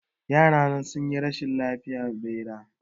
Yarana sun yi rashin lafiya bara